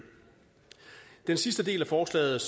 den sidste del af forslaget